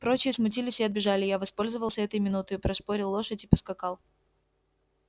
прочие смутились и отбежали я воспользовался этой минутою пришпорил лошадь и поскакал